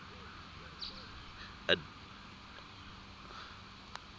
adeleide